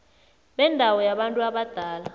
bendawo yabantu abadala